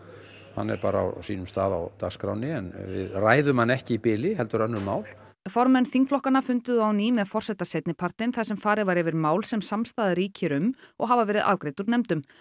hann er bara á sínum stað á dagskránni en við ræðum hann ekki í bili heldur önnur mál formenn þingflokka funduðu á ný með forseta seinnipartinn þar sem farið var yfir mál sem samstaða ríkir um og hafa verið afgreidd úr nefndum